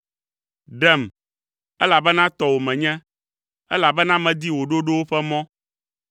Ɖem, elabena tɔwò menye, elabena medi wò ɖoɖowo ƒe mɔ.